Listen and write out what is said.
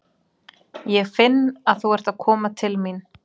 Ég finn að þú ert að koma til mín.